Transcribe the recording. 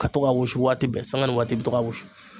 Ka to ka wusu waati bɛɛ sanga ni waati i bɛ to ka wusu